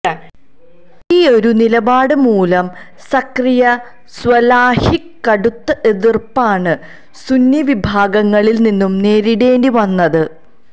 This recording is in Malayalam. ഈയൊരു നിലപാട് മൂലം സക്കരിയ്യ സ്വലാഹിക്ക് കടുത്ത എതിർപ്പാണ് സുന്നീ വിഭാഗങ്ങളിൽ നിന്നും നേരിടേണ്ടി വന്നത്